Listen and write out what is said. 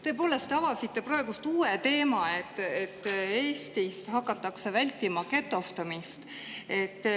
Tõepoolest, te avasite praegu uue teema, et Eestis hakatakse vältima getostumist.